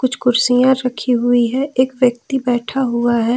कुछ कुर्सियां रखी हुई है एक व्यक्ति बैठा हुआ है।